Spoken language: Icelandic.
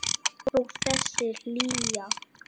Og þessi hlýja.